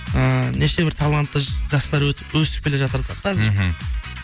ыыы неше бір талантты жастар өсіп келе жатыр да қазір ммм